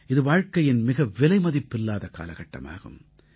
இது வாழ்க்கையின் மிக விலைமதிப்பில்லாத காலகட்டமாகும்